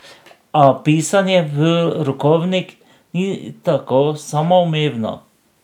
A pisanje v rokovnik ni tako samoumevno.